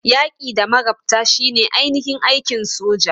Yaki da magabta shine ainihin aikin soja.